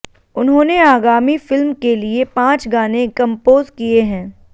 उन्होंने आगामी फिल्म के लिए पांच गाने कंपोज किए हैं